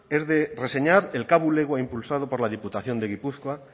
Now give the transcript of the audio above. es de reseñar el k bulegoa impulsado por la diputación de gipuzkoa